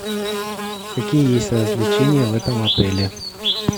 какие есть развлечения в этом отеле